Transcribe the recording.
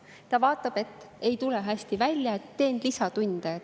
Ta vaatab, et ei tule hästi välja, teen lisatunde.